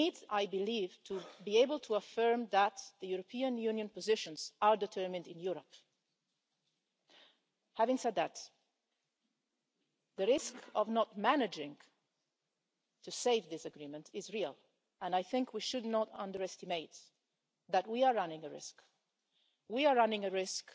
I believe that we need to be able to affirm that the European Union positions are determined in Europe. Having said that, the risk of not managing to save this agreement is real and I think we should not underestimate that we are running a risk.